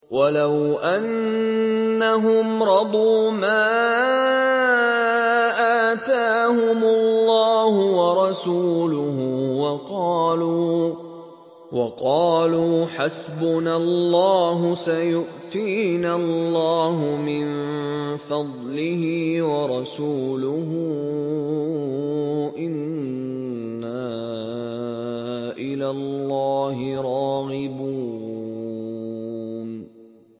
وَلَوْ أَنَّهُمْ رَضُوا مَا آتَاهُمُ اللَّهُ وَرَسُولُهُ وَقَالُوا حَسْبُنَا اللَّهُ سَيُؤْتِينَا اللَّهُ مِن فَضْلِهِ وَرَسُولُهُ إِنَّا إِلَى اللَّهِ رَاغِبُونَ